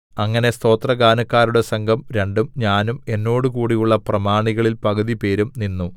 അങ്ങനെ സ്തോത്രഗാനക്കാരുടെ സംഘം രണ്ടും ഞാനും എന്നോടുകൂടെയുള്ള പ്രമാണികളിൽ പകുതിപേരും നിന്നു